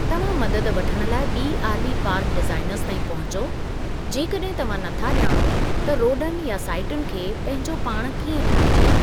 तव्हां मददु वठणु लाइ ॿी आरवी पार्क डीज़ाइनरज़ ताईं पहुचो जेकॾहिं तव्हां नथा ॼाणो त रोडन या साईटुन खे पंहिंजो पाण कीअं ठाहिजे।